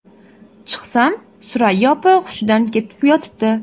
Chiqsam, Surayyo opa hushidan ketib yotibdi.